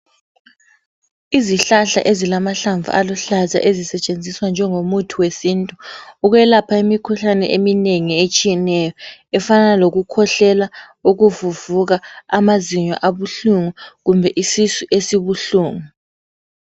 Izihlahla ezilamahlamvu aluhlaza ezisetshenziswa njengo muthi wesintu ukwelapha imikhuhlane eminengi etshiyeneyo efana lokukhwehlela, ukuvuvuka, amazinyo abuhlungu kumbe isisu esibuhlungu.